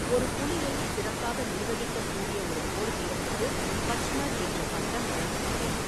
ஒரு புலியை சிறப்பாக நிர்வகிக்கக்கூடிய ஒரு போர்வீரனுக்கு பச்மர் என்ற பட்டம் வழங்கப்படும்.